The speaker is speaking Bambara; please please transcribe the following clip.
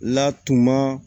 Latumun